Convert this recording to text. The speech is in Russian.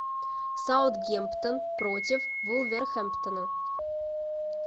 саутгемптон против вулверхэмптона